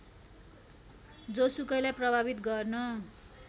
जोसुकैलाई प्रभावित गर्न